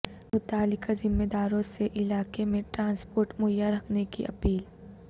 متعلقہ ذمہ داروں سے علاقہ میں ٹرانسپورٹ مہیا رکھنے کی اپیل